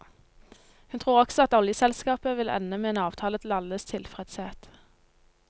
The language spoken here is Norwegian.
Hun tror også at oljeselskapet vil ende med en avtale til alles tilfredshet.